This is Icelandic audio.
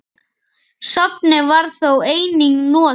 Safnið var þó einnig notað.